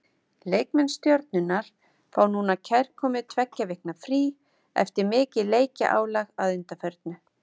Leikmenn Stjörnunnar fá núna kærkomið tveggja vikna frí eftir mikið leikjaálag að undanförnu.